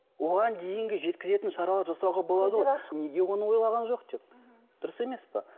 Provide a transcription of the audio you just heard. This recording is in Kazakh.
оған дейінгі жеткізетін шараларды жасауға болады ғой неге оны ойлаған жоқ деп дұрыс емес пе